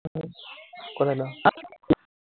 কলে যাৱ?